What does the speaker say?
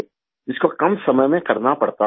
जिसको कम समय में करना पड़ता था